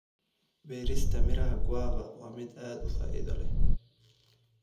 Beerista miraha guava waa mid aad u faa'iido leh.